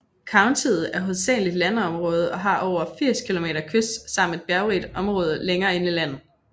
Countiet er hovedsageligt landområde og har over 80 km kyst samt et bjerrigt område længere inde i landet